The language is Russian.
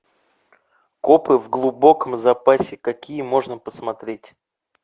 копы в глубоком запасе какие можно посмотреть